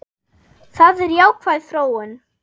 Það er jákvæð þróun.